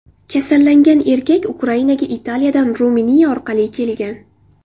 Kasallangan erkak Ukrainaga Italiyadan Ruminiya orqali kelgan.